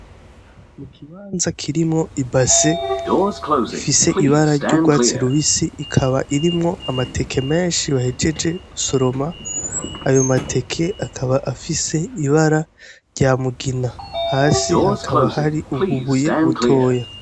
Ikibanza kirimwo ibase ifise ibara ry'urwatsi rubisi, ikaba irimwo amateke menshi bahejeje gusoroma. Ayo mateke akaba afise ibara rya mugina, hasi hakaba hari ububuye butoya.